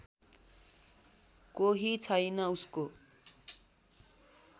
कोही छैन उसको